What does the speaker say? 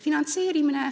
Finantseerimine.